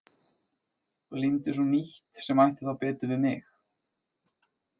Og límdi svo nýtt sem ætti þá betur við mig.